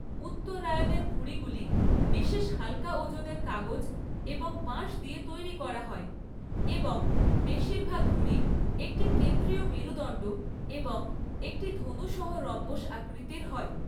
উত্তরায়ণের ঘুড়িগুলি বিশেষ হালকা ওজনের কাগজ এবং বাঁশ দিয়ে তৈরি করা হয় এবং বেশিরভাগ ঘুড়ি একটি কেন্দ্রীয় মেরুদণ্ড এবং একটি ধনু সহ রম্বস আকৃতির হয়।